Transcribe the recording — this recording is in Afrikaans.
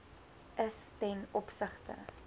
is ten opsigte